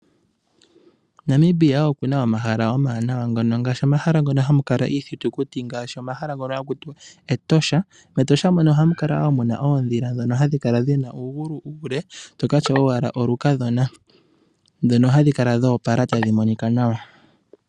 Namibia okuna omahala omawanawa ngaashi ngono hamu kala iithitukuti ha kutiwa Etosha. Metosha ohamu kala muna oondhila ndhono hadhi kala dhina uugulu uule tokatya owala olukadhona nohadhi kala dhoopala tadhi monika nawa.